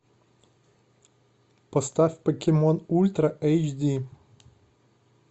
поставь покемон ультра эйч ди